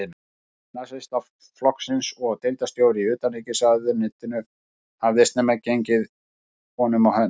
Nasistaflokksins og deildarstjóri í utanríkisráðuneytinu, hafði snemma gengið honum á hönd.